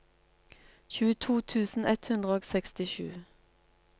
tjueto tusen ett hundre og sekstisju